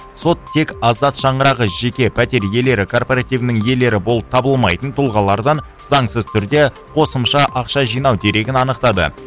сот тек азат шаңырағы жеке пәтер иелері карпоративінің иелері болып табылмайтын тұлғалардан заңсыз түрде қосымша ақша жинау дерегін анықтады